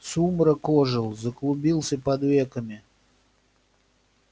сумрак ожил заклубился под веками